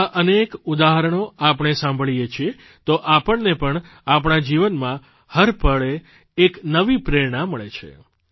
આવાં અનેક ઉદાહરણો આપણે સાંભળીએ છીએ તો આપણને પણ આપણા જીવનમાં હર પળે એક નવી પ્રેરણા મળે છે